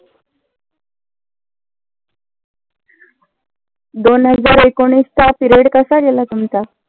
दोन हजार एकोणीसचा period कसा गेला तुमचा?